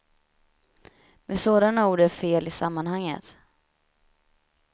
Men sådana ord är fel i sammanhanget.